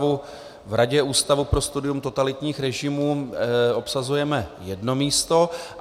V Radě Ústavu pro studium totalitních režimů obsazujeme jedno místo.